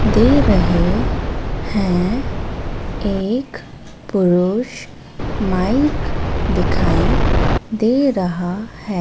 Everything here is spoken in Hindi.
दे रहे है एक पुरुष माइक दिखाई दे रहा है।